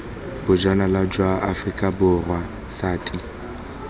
bojanala jwa aforika borwa sati